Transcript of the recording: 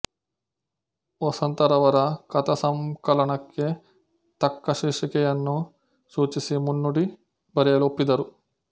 ವಸಂತರವರ ಕಥಾಸಂಕಲನಕ್ಕೆ ತಕ್ಕ ಶೀರ್ಷಿಕೆಯನ್ನೂ ಸೂಚಿಸಿ ಮುನ್ನುಡಿ ಬರೆಯಲು ಒಪ್ಪಿದರು